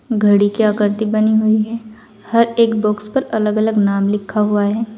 घड़ी की आकृति बनी हुई है हर एक बॉक्स पर अलग अलग नाम लिखा हुआ है।